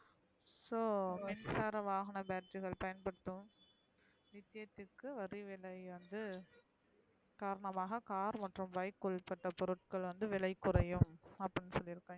ஹோ மின்சார வாகன battery கல் பயன்படுத்தும் வரி விலை விலை வந்து காரணமாக car மற்றும் bike உள்ளப்பட்ட பொருட்கள் வந்து விலை குறையும் அப்டின்னு சொல்லிருகாய்ங்க